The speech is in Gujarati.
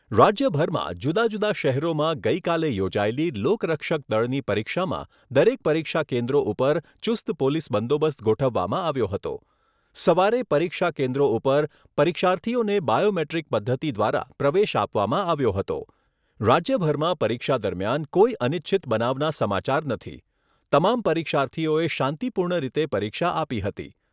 રાજ્યભરમાં જુદા જુદા શહેરોમાં ગઈકાલે યોજાયેલી લોક રક્ષક દળની પરીક્ષામાં દરેક પરીક્ષા કેન્દ્રો ઉપર ચુસ્ત પોલીસ બંદોબસ્ત ગોઠવવામાં આવ્યો હતો. સવારે પરીક્ષા કેન્દ્રો ઉપર પરીક્ષાર્થીઓને બાયો મેટ્રીક પદ્ધતિ દ્વારા પ્રવેશ આપવામાં આવ્યો હતો. રાજ્યભરમાં પરીક્ષા દરમિયાન કોઈ અનિચ્છનિત બનાવના સમાચાર નથી. તમામ પરીક્ષાર્થીઓએ શાંતિપૂર્ણ રીતે પરીક્ષા આપી હતી.